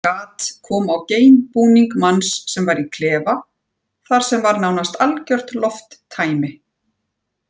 Gat kom á geimbúning manns sem var í klefa þar sem var nánast algjört lofttæmi.